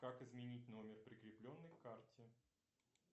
как изменить номер прикрепленный к карте